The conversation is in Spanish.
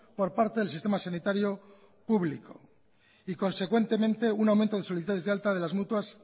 por parte del sistema sanitario público y consecuentemente un aumento de solicitudes de alta de las mutuas